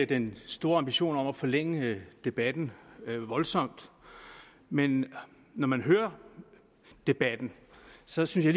den store ambition om at forlænge debatten voldsomt men når man hører debatten synes jeg